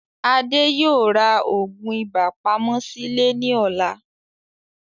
Adé yóò rà òògùn ibà pamọ́ sìlè ní ọ̀la